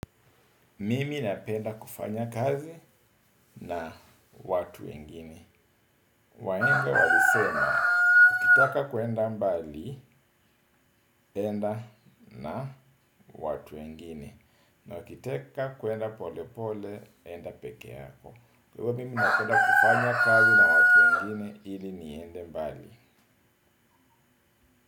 Mimi napenda kufanya kazi na watu wengine. Wahenga walisema, ukitaka kuenda mbali, enda na watu wengine. Na wakitaka kuenda pole pole, enda peke yako. Kwa mimi napenda kufanya kazi na watu wengine, ili niende mbali.